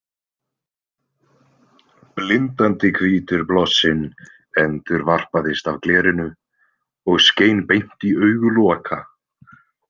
Blindandi hvítur blossinn endurvarpaðist af glerinu og skein beint í augu Loka.